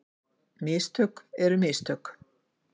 Mistök eru mistök.